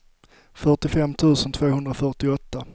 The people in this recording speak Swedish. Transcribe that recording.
fyrtiofem tusen tvåhundrafyrtioåtta